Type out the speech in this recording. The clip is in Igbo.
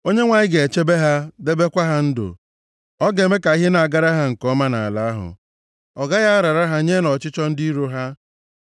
Onyenwe anyị ga-echebe ha, debekwa ha ndụ; ọ ga-eme ka ihe na-agara ha nke ọma nʼala ahụ, ọ gaghị arara ha nye nʼọchịchọ ndị iro ha.